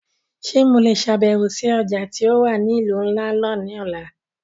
Ṣe Mo le ṣabẹwo si ọja ti o wa ni ilu nla náa ni ọla?